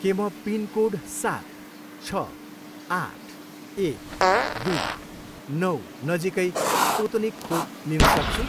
के म पिनकोड सात, छ, आठ, एक, दुई, नौ नजिकै स्पुत्निक खोप लिन सक्छु?